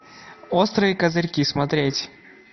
острые козырьки смотреть